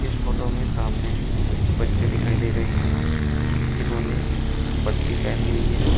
इस फोटो में सामने कुछ बच्चे दिखाई दे रहे हैं जिन्होंने वर्दी पेहनी हुई है।